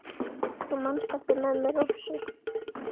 Þú manst eftir mömmu Rósu?